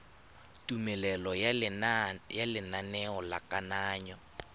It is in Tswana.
tumelelo ya lenaneo la kananyo